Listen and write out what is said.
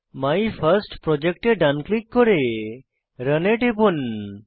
my first project এ ডান click করে রান এ টিপুন